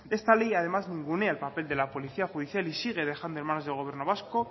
esta ley además ningunea el papel de la policía judicial y sigue dejando en manos del gobierno vasco